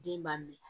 Den b'a minɛ